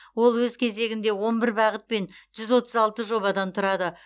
ол өз кезегінде он бір бағыт пен жүз отыз алты жобадан тұрады